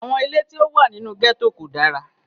Àwọn ilé tí ó wà nínú gẹ́tò kò dára